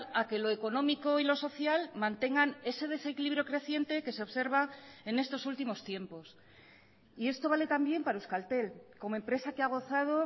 a que lo económico y lo social mantengan ese desequilibrio creciente que se observa en estos últimos tiempos y esto vale también para euskaltel como empresa que ha gozado